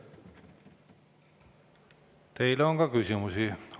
Teile on ka küsimusi.